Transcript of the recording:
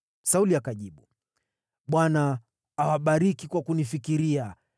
Sauli akajibu, “ Bwana awabariki kwa kunifikiria.